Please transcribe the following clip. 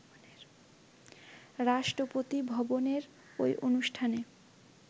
রাষ্ট্রপতি ভবনের ওই অনুষ্ঠানে